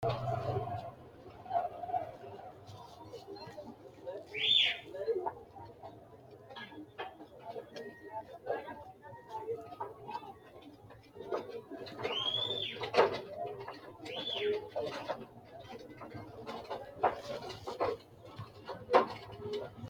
tini ortodokisete ama'nora maga'note mine ikkanna kuni maga'note min lowo geeshsa biifinsenna seesinse loonsonniho. iimasino alenni qolle masiqala woronni woroonni guranna qinitenni etiyophiwu cicco suntonni.